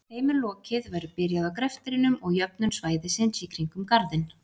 Þegar þeim er lokið verður byrjað á greftrinum og jöfnun svæðisins í kring um Garðinn.